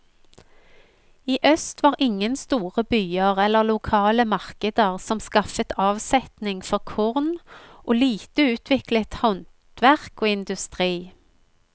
I øst var ingen store byer eller lokale markeder som skaffet avsetning for korn, og lite utviklet handverk og industri.